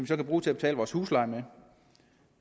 så kan bruge til at betale vores husleje med